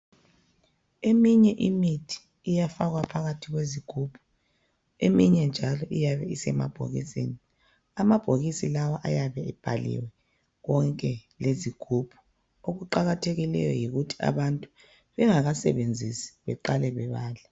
Eminye imithi iyafakwa phakathi kwezigubhu, eminye njalo iyabe isemabhokisini .Amabhokisi lawa ayabe ebhaliwe konke lezigubhu. Okuqakathekileyo yikuthi abantu bengakasebenzisi beqale bebale.